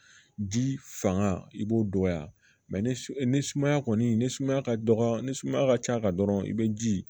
Ji fanga i b'o dɔgɔya ni sumaya kɔni ni sumaya ka dɔgɔ ni sumaya ka ca dɔrɔn i be ji